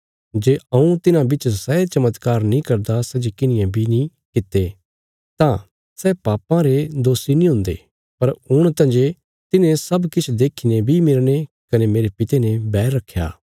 जे हऊँ तिन्हां बिच सै चमत्कार नीं करदा सै जे किन्हिये बी नीं कित्ते तां सै पापां रे दोषी नीं हुंदे पर हुण तंजे तिन्हें सब किछ देखीने बी मेरने कने मेरे पिता ने बैर रखया